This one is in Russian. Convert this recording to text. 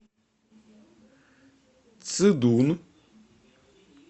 цидун